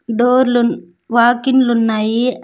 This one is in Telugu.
డోర్లు వాకిన్లు ఉన్నాయి.